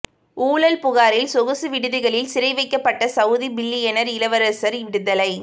ஊழல் புகாரில் சொகுசு விடுதிகளில் சிறைவைக்கப்பட்ட சவுதி பில்லியனர் இளவரசர் விடுதலை